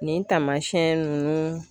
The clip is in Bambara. Nin taamasɛn nunnu